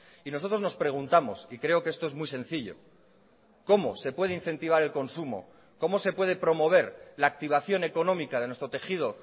y nosotros nos preguntamos y creo que esto es muy sencillo cómo se puede incentivar el consumo cómo se puede promover la activación económica de nuestro tejido